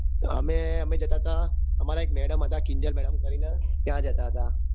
અમે અમે જતા હતા અમર એક madam હતા કિંજલ madam કરીને ત્યાં જતા હતા